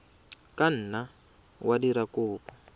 ka nna wa dira kopo